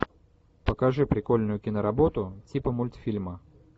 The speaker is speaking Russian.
покажи прикольную киноработу типа мультфильма